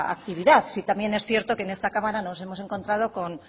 actividad también es cierto que en esta cámara nos hemos encontrado con